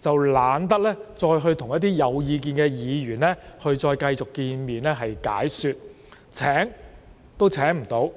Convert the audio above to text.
數後便懶得與有意見的議員繼續會面進行解說，連邀約他們也未能成功。